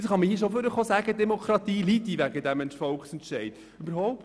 Nun kann man hier vorne schon sagen, die Demokratie würde wegen diesem Volksentscheid leiden.